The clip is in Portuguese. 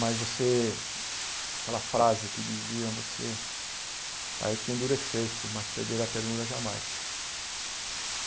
Mas você... Aquela frase que diziam, você... Ai que endurecer-se, mas perder a ternura jamais.